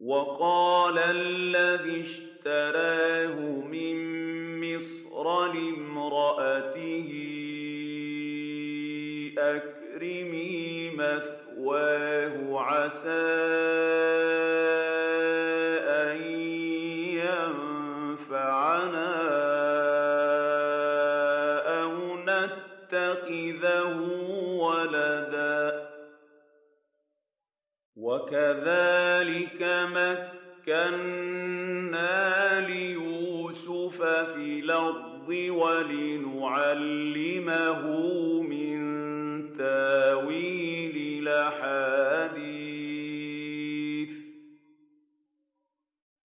وَقَالَ الَّذِي اشْتَرَاهُ مِن مِّصْرَ لِامْرَأَتِهِ أَكْرِمِي مَثْوَاهُ عَسَىٰ أَن يَنفَعَنَا أَوْ نَتَّخِذَهُ وَلَدًا ۚ وَكَذَٰلِكَ مَكَّنَّا لِيُوسُفَ فِي الْأَرْضِ وَلِنُعَلِّمَهُ مِن تَأْوِيلِ الْأَحَادِيثِ ۚ